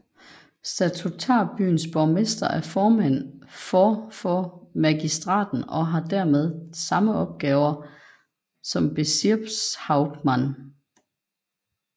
Statutarbyens borgmester er formand for for magistraten og har dermed samme opgaver som Bezirkshauptmann